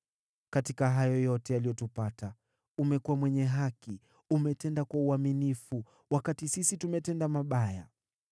Katika hayo yote yaliyotupata, umekuwa mwenye haki, na umetenda kwa uaminifu, wakati sisi tumetenda mabaya.